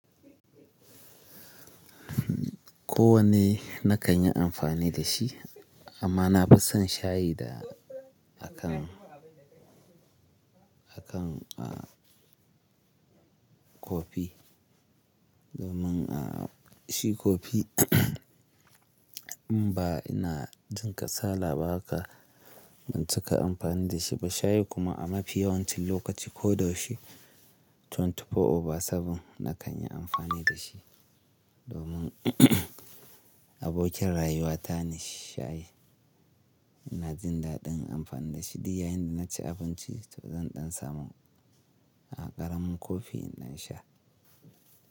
Kowane na kan yi amfani da shi amma na fi son shayi da akan, akan a kofi. Domin a shi kofi in ba ina jin kasala ba haka ban cika amfani da shi ba. Shayi kuma a mafi yawancin lokaci ko da shi twenty four over seven, na kan yi amfani da shi domin abokin rayuwata ne shayi. Ina jin daɗin amfani da shi. Di yayin da naci abinci to zan ɗan samu a ƙaramun kofi in ɗan sha.